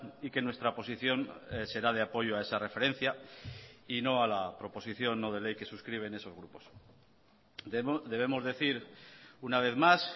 y que nuestra posición será de apoyo a esa referencia y no a la proposición no de ley que suscriben esos grupos debemos decir una vez más